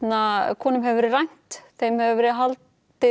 konum hefur verið rænt þeim hefur verið haldið